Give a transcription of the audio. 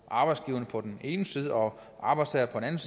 arbejdsgiverne på den ene side og arbejdstagerne